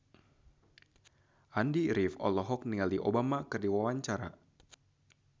Andy rif olohok ningali Obama keur diwawancara